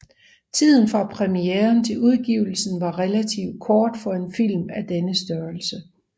Tiden fra premieren til udgivelsen var relativt kort for en film af denne størrelse